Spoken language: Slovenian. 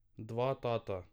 Dva tata.